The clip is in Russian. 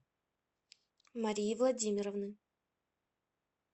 марии владимировны